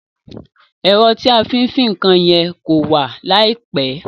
Èro tí a fí n fin nkan ye kó wà láìpe